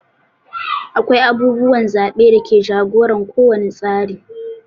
Akwai abubuwan zaɓe da ke jagoran ko wani tsari.